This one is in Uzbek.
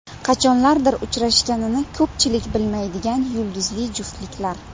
Qachonlardir uchrashganini ko‘pchilik bilmaydigan yulduzli juftliklar .